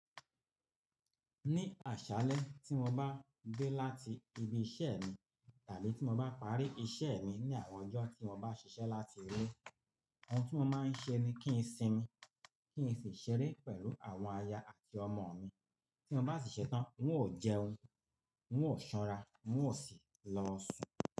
Ní àṣálẹ́ tí mo bá dé láti ibi iṣẹ́ mi tàbí tí mo bá parí iṣẹ́ mi ní àwọn ọjọ́ tí mo bá ṣiṣẹ́ láti ilé, ohun tí mo máa ń ṣe ni kí n sinmi, kí n sì ṣeré pẹ̀lú àwọn aya àti ọmọ mi. Tí mo bá ṣìṣe tán, n ó jẹun, n ó sanra, n ó sì lọ sùn.